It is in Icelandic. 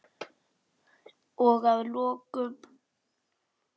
Og að lokum.